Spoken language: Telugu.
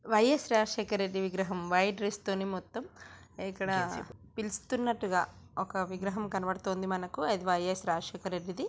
వై_ఎస్ రాజశేఖర్ రెడ్డి విగ్రహం వైట్ డ్రెస్ తోని మొత్తం ఇక్కడ పిలుస్తున్నట్టుగా ఒక విగ్రహం కనబడుతుంది మనకు. అది వై_యస్ రాజశేఖర్ రెడ్డిది.